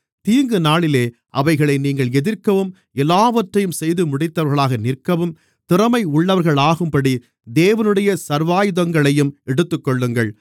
எனவே தீங்குநாளிலே அவைகளை நீங்கள் எதிர்க்கவும் எல்லாவற்றையும் செய்துமுடித்தவர்களாக நிற்கவும் திறமையுள்ளவர்களாகும்படி தேவனுடைய சர்வாயுதங்களையும் எடுத்துக்கொள்ளுங்கள்